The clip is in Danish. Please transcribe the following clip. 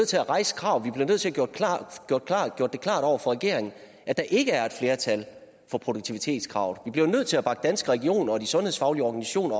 til at rejse kravet vi bliver nødt til gjort klart over for regeringen at der ikke er et flertal for produktivitetskravet vi bliver nødt til at bakke danske regioner og de sundhedsfaglige organisationer